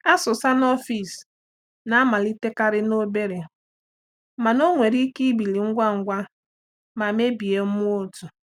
Asụsa n’ọfịs na-amalitekarị n’obere mana ọ nwere ike ibili ngwa ngwa ma mebie mmụọ otu.